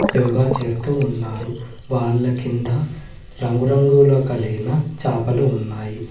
యోగా చేస్తూ ఉన్నారు వాళ్ల కింద రంగురంగుల కలిగిన చాపలు ఉన్నాయి.